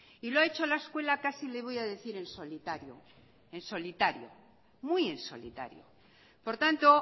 y lo ha hecho la escuela casi le voy a decir en solitario en solitario muy en solitario por tanto